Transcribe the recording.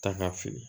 Ta ka fili